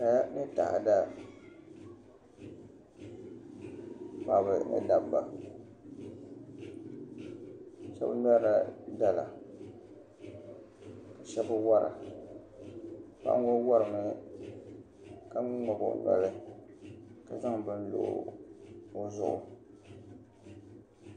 Kaya ni taada paɣaba ni dabba shab ŋmɛrila dala ka shab wora paɣa ŋo worimi ka ŋmabi o noli ka zaŋ bini ŋmabi o zuɣu